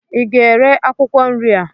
ị ga-ere akwụkwọ nri a?